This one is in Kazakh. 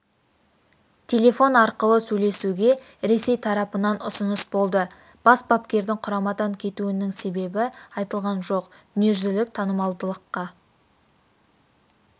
телефон арқылы сөйлесуге ресей тарапынан ұсыныс болды бас бапкердің құрамадан кетуінің себебі айтылған жоқ дүниежүзілік танымалдылыққа